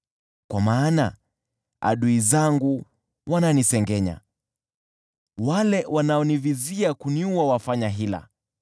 Kwa maana adui zangu wananisengenya, wale wanaonivizia kuniua wafanya hila.